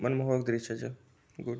मनमोहक दृश्य च गुड ।